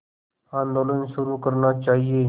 आंदोलन शुरू करना चाहिए